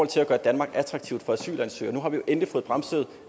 til at gøre danmark attraktivt for asylansøgere nu har vi jo endelig fået bremset